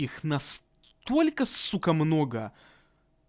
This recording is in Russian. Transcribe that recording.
их на сстолько сука много